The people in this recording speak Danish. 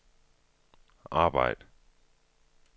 arbejd